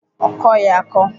Ọ kọghi akọ.